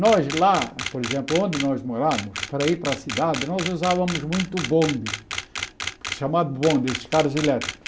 Nós lá, por exemplo, onde nós morávamos, para ir para a cidade, nós usávamos muito o bonde, chamado bonde, esses carros elétricos.